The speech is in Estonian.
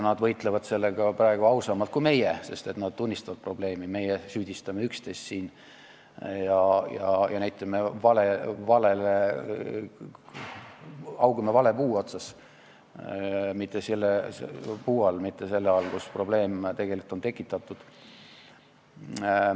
Nad võitlevad sellega praegu ausamalt kui meie, sest nad tunnistavad probleemi, meie süüdistame üksteist ja haugume vale puu all, mitte selle all, kus probleem tegelikult on tekitatud.